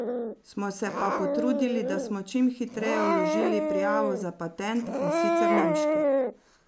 Smo se pa potrudili, da smo čim hitreje vložili prijavo za patent, in sicer nemški.